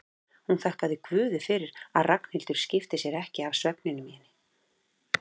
Hún þakkaði guði fyrir að Ragnhildur skipti sér ekki af svefninum í henni.